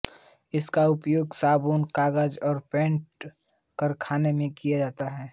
इसका उपयोग साबुन कागज और पेंट कारखानों में किया जाता है